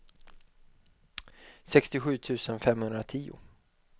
sextiosju tusen femhundratio